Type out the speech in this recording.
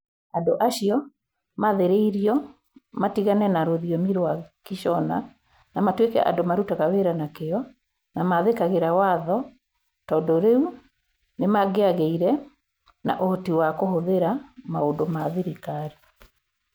Andũ acio maathĩrĩirio matigane na rũthiomi rwa Kĩshona na matuĩke andũ marutaga wĩra na kĩyo na mathĩkagĩra watho tondũ rĩu nĩ mangĩagĩire na ũhoti wa kũhũthĩra maũndũ ma thirikari.